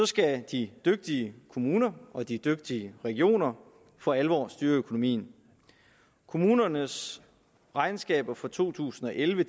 skal de dygtige kommuner og de dygtige regioner for alvor styre økonomien kommunernes regnskaber for to tusind og elleve